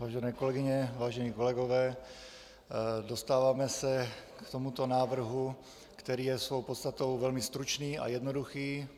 Vážené kolegyně, vážení kolegové, dostáváme se k tomuto návrhu, který je svou podstatou velmi stručný a jednoduchý.